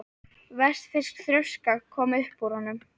Vestfirsk þrjóska kom upp í honum.